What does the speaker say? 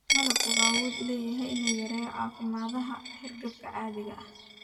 Malabku wuxuu awood u leeyahay inuu yareeyo calaamadaha hargabka caadiga ah.